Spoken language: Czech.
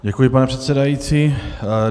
Děkuji, pane předsedající.